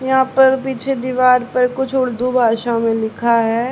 यहां पर पीछे दीवार पर कुछ उर्दू भाषा में लिखा है।